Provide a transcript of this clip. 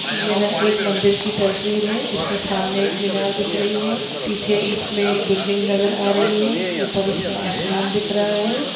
यह एक मंदिर की तस्वीर हैं इसमें सामने एक मिनार दिख रही हैं पीछे इसमें बिल्डिंग नज़र आ रही हैं ऊपर इसमें आसमान दिख रहा हैं।